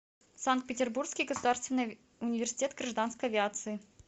санкт петербургский государственный университет гражданской авиации